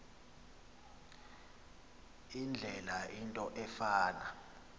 indlela into efana